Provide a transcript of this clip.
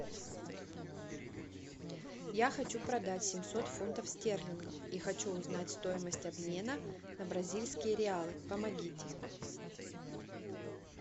я хочу продать семьсот фунтов стерлингов и хочу узнать стоимость обмена на бразильские реалы помогите